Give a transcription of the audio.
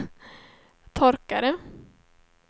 torkare